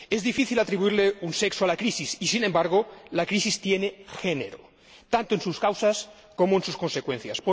Es difícil atribuirle un sexo a la crisis y, sin embargo, la crisis tiene género, tanto en sus causas como en sus consecuencias.